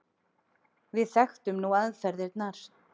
Við þekktum nú aðferðirnar.